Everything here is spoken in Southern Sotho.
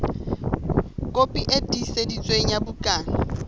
kopi e tiiseditsweng ya bukana